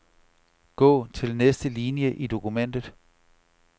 Gå til næste linie i dokumentet.